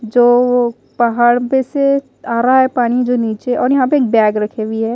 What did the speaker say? जो वो पहाड़ पे से आ रहा है पानी जो नीचे और यहां पे एक बैग रखी हुई है।